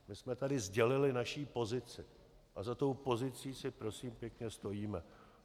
My jsme tady sdělili naši pozici a za tou pozicí si prosím pěkně stojíme.